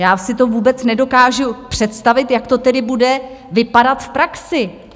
Já si to vůbec nedokážu představit, jak to tedy bude vypadat v praxi.